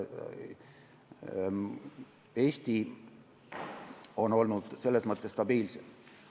Eesti on olnud selles mõttes stabiilsem.